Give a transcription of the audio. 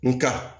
Nga